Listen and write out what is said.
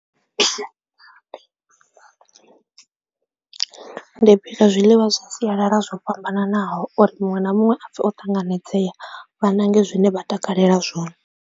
Ndi bika zwiḽiwa zwa siyalala zwo fhambananaho uri muṅwe na muṅwe a pfhe o ṱanganedzea vha ṋange zwine vha takalela zwone.